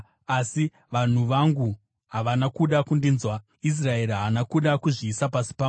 “Asi vanhu vangu havana kuda kundinzwa, Israeri haana kuda kuzviisa pasi pangu.